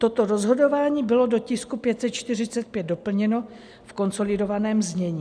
Toto rozhodování bylo do tisku 545 doplněno v konsolidovaném znění.